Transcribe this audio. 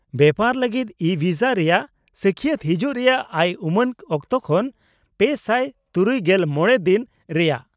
-ᱵᱮᱯᱟᱨ ᱞᱟᱜᱤᱫ ᱤᱼᱵᱷᱤᱥᱟ ᱨᱮᱭᱟᱜ ᱥᱟᱹᱠᱷᱭᱟᱹᱛ ᱦᱤᱡᱩᱜ ᱨᱮᱭᱟᱜ ᱟᱭ ᱩᱢᱟᱹᱱ ᱚᱠᱛᱚ ᱠᱷᱚᱱ ᱓᱖᱕ ᱫᱤᱱ ᱨᱮᱭᱟᱜ ᱾